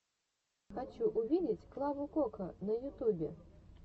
хочу увидеть клаву кока на ютубе